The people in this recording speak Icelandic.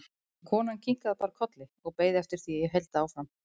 En konan kinkaði bara kolli og beið eftir því að ég héldi áfram.